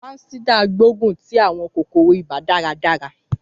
Fansidar gbógun ti àwọn kòkòrò ibà dáradára.